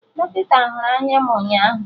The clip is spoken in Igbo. Dọkịta hụrụ anya m ụnyaahụ